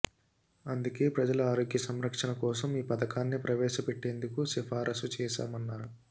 అందుకే ప్రజల ఆరోగ్యం సంరక్షణ కోసం ఈ పథకాన్ని ప్రవేశపెట్టేందుకు సిఫారసు చేశామన్నారు